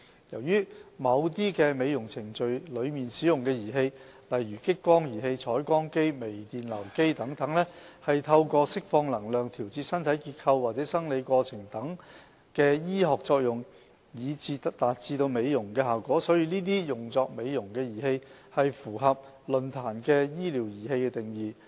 由於某些美容程序中使用的儀器，例如激光儀器、彩光機、微電流機等，是透過釋放能量調節身體結構或生理過程等醫學作用以達致美容的效果，所以這些用作美容的儀器符合論壇的"醫療儀器"定義。